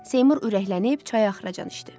Seymur ürəklənib çayı axıracan içdi.